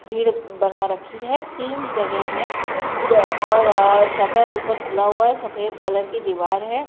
भीड़ बना रखी है तीन जगह हैं और शटर ऊपर खुला हुआ है। सफ़ेद कलर की दीवार है।